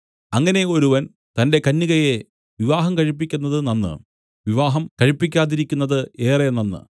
അങ്ങനെ ഒരുവൻ തന്റെ കന്യകയെ വിവാഹം കഴിപ്പിക്കുന്നത് നന്ന് വിവാഹം കഴിപ്പിക്കാതിരിക്കുന്നത് ഏറെ നന്ന്